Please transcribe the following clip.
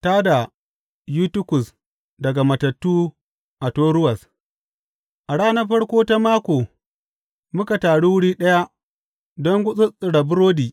Ta da Yutikus daga matattu a Toruwas A ranar farko ta mako muka taru wuri ɗaya don gutsuttsura burodi.